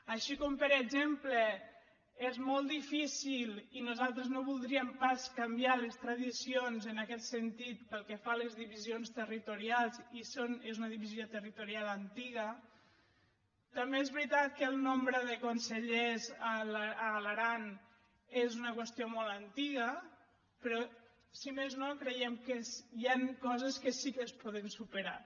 així com per exemple és molt difícil i nosaltres no voldríem pas canviar les tradicions en aquest sentit pel que fa a les divisions territorials i és una divisió territorial antiga també és veritat que el nombre de consellers a l’aran és una qüestió molt antiga però si més no creiem que hi han coses que sí que es poden superar